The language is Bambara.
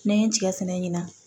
N'an ye n tigɛ fɛnɛ ɲina